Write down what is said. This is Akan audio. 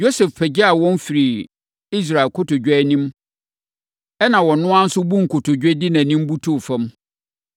Yosef pagyaa wɔn firii Israel kotodwe anim, ɛnna ɔno ara nso buu nkotodwe de nʼanim butuu fam.